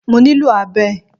Mo ní lò abẹ